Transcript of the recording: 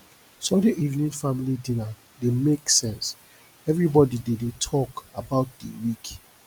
sunday evening family dinner dey make sense everybody dey dey talk about the week